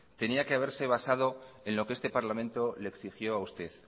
tenía que haberse basado en lo que este parlamento le exigió a usted